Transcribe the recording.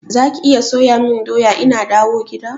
Zaki iya soya mun doya ina dawo gida?